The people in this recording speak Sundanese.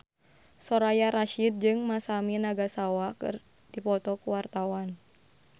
Soraya Rasyid jeung Masami Nagasawa keur dipoto ku wartawan